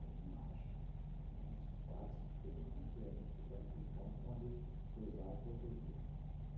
ali embaixo, a uns quatro, cinco quilômetros, e a gente ficou naquele ponto onde cruzava o rodovia.